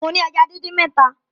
Mo ni èjá díndín mẹta